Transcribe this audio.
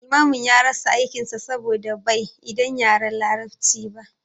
Limamin ya rasa aikin sa saboda bai idan yaren larabci ba